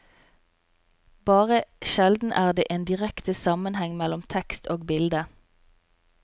Bare sjelden er det en direkte sammenheng mellom tekst og bilde.